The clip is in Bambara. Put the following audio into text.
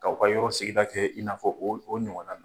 K'aw ka yɔrɔ sigida kɛ, i n'a fɔ o o ɲɔgɔn na nin .